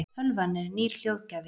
tölvan er nýr hljóðgjafi